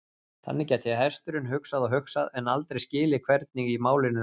Þannig gæti hesturinn hugsað og hugsað, en aldrei skilið hvernig í málinu lá.